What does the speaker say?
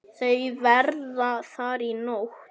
Þau verða þar í nótt.